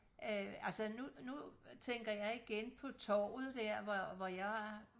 øh altså nu nu tænker jeg igen på torvet der hvor jeg var